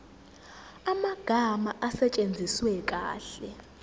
amagama asetshenziswe kahle